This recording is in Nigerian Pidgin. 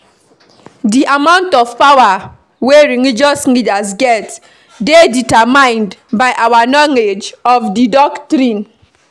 Di amount of power wey religious leaders get dey determined by our knowledge of di doctrine